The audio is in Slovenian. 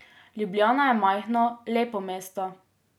Ljubljana je majhno, lepo mesto.